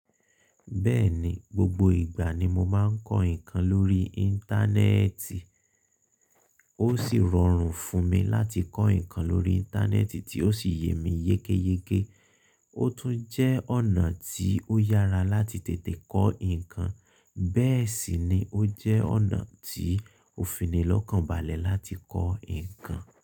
Bẹ́ẹ̀ni, gbogbo ìgbà ni mo máa ń kọ́ nǹkan lórí Íńtánẹ́ẹ̀tì. Ó sì rọrùn fún mi láti kọ́ nǹkan lórí Íńtánẹ́ẹ̀tì tí ó sì yé mi yékéyéké. Ó tún jẹ́ ọ̀nà tí ó yára láti tètè kọ́ nǹkan, bẹ́ẹ̀ sì ni ó jẹ́ ọ̀nà tí ó fìní lọ́kàn balẹ̀ láti kọ́ nǹkan.